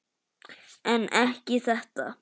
En ekki þetta.